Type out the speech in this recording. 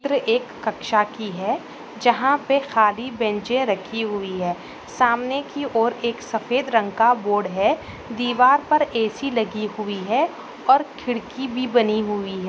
चित्र-- एक कक्षा की है जहाँ पे खाली बेंचे रखी हुई है सामने की ओर एक सफेद रंग का बोर्ड है दीवार पर ए_सी लगी हुई है और खिड़की भी बनी हुई है।